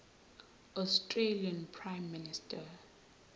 australian prime minister